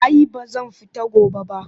Ai ba zan fita gobe ba